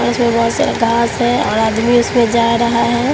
बहोत सारे घास है और आदमी इसमें जा रहा है।